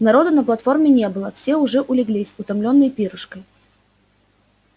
народу на платформе не было все уже улеглись утомлённые пирушкой